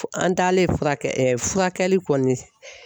An taalen fura kɛ furakɛli kɔni